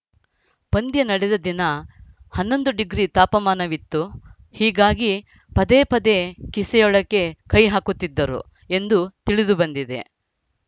ಪಂದ್ಯ ನಡೆದ ದಿನ ಹನ್ನೊಂದು ಡಿಗ್ರಿ ತಾಪಮಾನವಿತ್ತು ಹೀಗಾಗಿ ಪದೇ ಪದೇ ಕಿಸೆಯೊಳಕ್ಕೆ ಕೈಹಾಕುತ್ತಿದ್ದರು ಎಂದು ತಿಳಿದುಬಂದಿದೆ